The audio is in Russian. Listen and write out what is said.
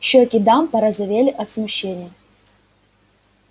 щёки дам порозовели от смущения